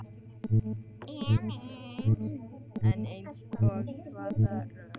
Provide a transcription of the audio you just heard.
Elín: En eins og hvaða rök?